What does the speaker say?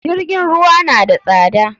JIrgin ruwa na da tsada.